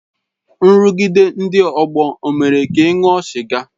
Nrụgide ndị ọgbọ ọ mere ka ị ṅụọ sịga?